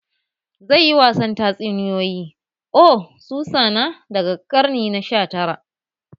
Zai yi wasan tatsuniyoyi "oh Susanna" daga karni na sha tara